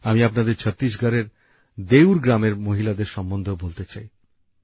আমি আপনাদের ছত্তিশগড় এর দেউর গ্রামের মহিলাদের সম্বন্ধেও বলতে চাই